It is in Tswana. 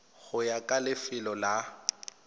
go ya ka lefelo la